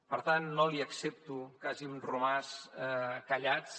per tant no li accepto que hàgim romàs callats